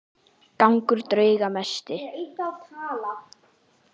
Gangur drauga mesti.